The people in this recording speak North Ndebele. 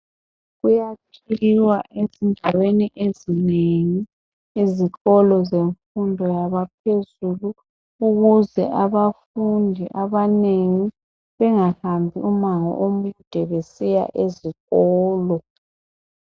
Kuyakhiwa ezindaweni ezinengi ezikolo zemfundo yabaphezulu ukuze abafundi abanengi bengahambi umango omude besiya ezikolo.